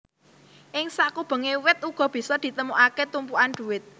Ing sakubenge wit uga bisa ditemukake tumpukan duit